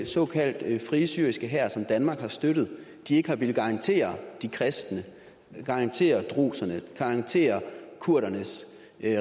såkaldte frie syriske hær som danmark har støttet ikke har villet garantere de kristnes garantere drusernes garantere kurdernes